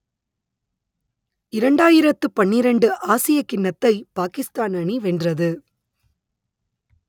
இரண்டாயிரத்து பன்னிரண்டு ஆசியக் கிண்ணத்தை பாக்கிஸ்தான் அணி வென்றது